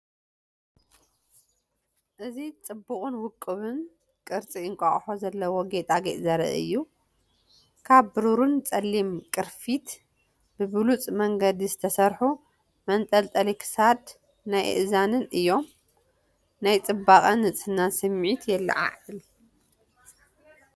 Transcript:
እዚ ጽቡቕን ውቁብን ቅርጺ እንቋቑሖን ዘለዎ ጌጣጌጥ ዘርኢ እዩ። ካብ ብሩርን ጸሊምን ቅርፊት ብብሉጽ መንገዲ ዝተሰርሑ መንጠልጠሊ ክሳድ ናይ አእዛንን እዮም። ናይ ጽባቐን ንጽህናን ስምዒት የለዓዕል።